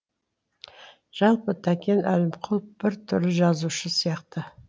жалпы тәкен әлімқұлов бір түрлі жазушы сияқты